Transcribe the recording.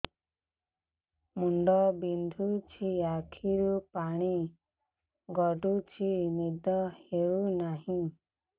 ମୁଣ୍ଡ ବିନ୍ଧୁଛି ଆଖିରୁ ପାଣି ଗଡୁଛି ନିଦ ହେଉନାହିଁ